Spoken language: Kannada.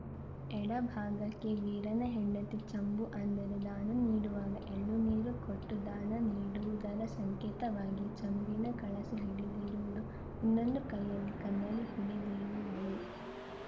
ಎಡಭಾಗಕ್ಕೆ ವೀರನ ಹೆಂಡತಿ ಚಂಬು ಅಂದರೆ ದಾನ ನೀಡುವಾಗ ಎಳ್ಳು ನೀರು ಕೊಟ್ಟುದಾನ ನೀಡುವುದರ ಸಂಕೇತವಾಗಿ ಚಂಬಿನ ಕಳಸ ಹಿಡಿದಿರುವುದು ಇನ್ನೊಂದು ಕೈಯಲ್ಲಿ ಕನ್ನಡಿ ಹಿಡಿದಿರುವಳು